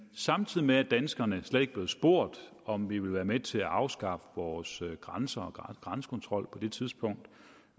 samtidig med at danskerne slet ikke er blevet spurgt om vi ville være med til at afskaffe vores grænser og grænsekontrol på det tidspunkt